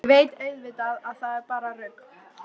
Ég veit auðvitað að það er bara rugl.